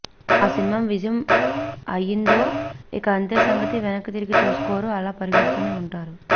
ఆ సినిమా విజయం అయ్యిందో ఇక అంతే సంగతి వెనక్కి తిరిగి చూసుకోరు అలా పరిగెడుతూనే ఉంటారు